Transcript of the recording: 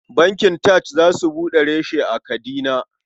Bankin TAJ za su buɗe reshe a Kadina.